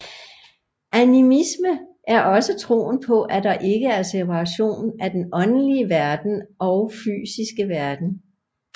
Animisme er også troen på at der ikke er separation af den åndelige verden og fysiske verden